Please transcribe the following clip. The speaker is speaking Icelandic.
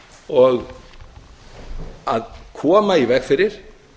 og að koma í veg fyrir